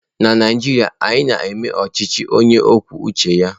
Na Naijiria, anyị na-eme ọchịchị onye kwuo uche ya